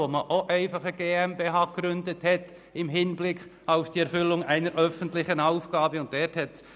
Dort wurde auch einfach eine GmbH im Hinblick auf die Erfüllung einer öffentlichen Aufgabe gegründet.